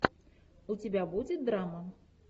у тебя будет драма